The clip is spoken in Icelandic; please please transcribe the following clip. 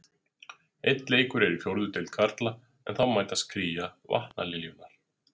Einn leikur er í fjórðu deild karla en þá mætast Kría og Vatnaliljurnar.